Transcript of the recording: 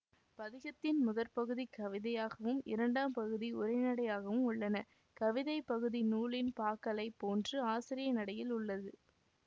பதிகத்தின் முதற்பகுதி கவிதையாகவும் இரண்டாம் பகுதி உரைநடையாகவும் உள்ளன கவிதை பகுதி நூலின் பாக்களைப் போன்று ஆசிரிய நடையில் உள்ளது